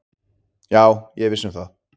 Já, ég er viss um það